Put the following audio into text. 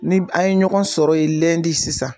Ni an ye ɲɔgɔn sɔrɔ yen sisan.